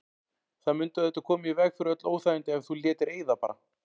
Það mundi auðvitað koma í veg fyrir öll óþægindi ef þú létir eyða bara.